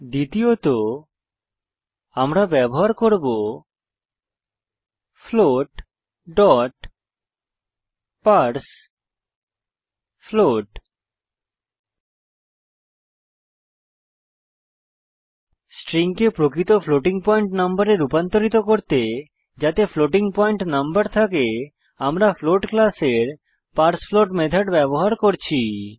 দ্বিতীয়ত আমরা ব্যবহার করব floatপার্সফ্লোট স্ট্রিংকে প্রকৃত ফ্লোটিং পয়েন্ট নম্বরে রুপান্তরিত করতে যাতে ফ্লোটিং পয়েন্ট নম্বর থাকে আমরা ফ্লোট ক্লাসের পার্সফ্লোট মেথড ব্যবহার করছি